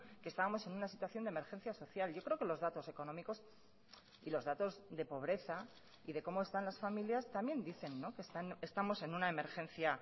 que estábamos en una situación de emergencia social yo creo que los datos económicos y los datos de pobreza y de como están las familias también dicen que estamos en una emergencia